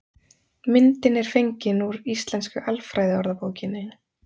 myndin er fengin úr íslensku alfræðiorðabókinni